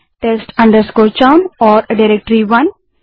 कृपया test chown नाम की खाली डाइरेक्टरीस और डाइरेक्टरी 1 को भी बनाएँ